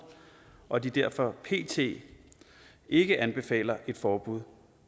og at de derfor pt ikke anbefaler et forbud